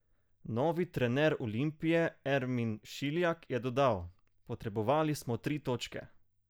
Novi trener Olimpije Ermin Šiljak je dodal: "Potrebovali smo tri točke.